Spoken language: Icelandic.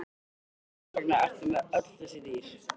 En hvers vegna ertu með öll þessi dýr?